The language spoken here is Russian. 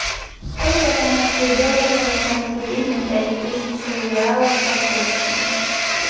сколько канадских долларов я смогу купить на пять тысяч реалов по курсу